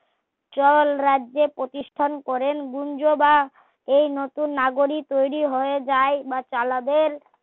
চার রাজ্যের প্রতিষ্টান করেন গুনজোদা এই নতুন নাগরিক তৈরি হয়ে যায় বা চালাবেন